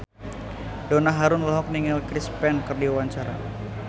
Donna Harun olohok ningali Chris Pane keur diwawancara